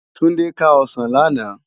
Tunde ká òsán làná